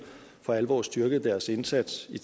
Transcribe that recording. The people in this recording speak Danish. for alvor har styrket deres indsats i